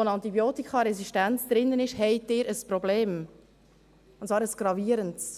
eine Antibiotikaresistenz drin ist, in Kontakt kommen, haben Sie ein Problem, und zwar ein gravierendes.